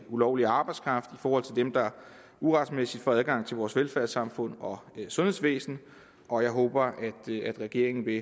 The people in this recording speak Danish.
ulovlig arbejdskraft og mod dem der uretmæssigt får adgang til vores velfærdssamfund og sundhedsvæsen og jeg håber at regeringen vil